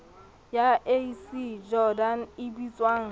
ya ac jordan e bitswang